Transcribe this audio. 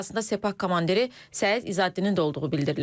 Ölənlər arasında Sepah komandiri Səid İzəddinin də olduğu bildirilir.